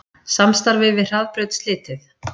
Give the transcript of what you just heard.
Samstarfi við Hraðbraut slitið